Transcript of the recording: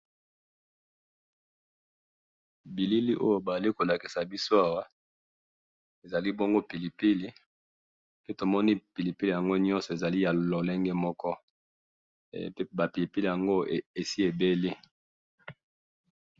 bilili oyo bazali kolakisa biso awa ezali bongo pilipili pe tomoni pilipili nyonso ezali na lolengo moko pe tomoni ba pilipili yango nyonso esi ebeli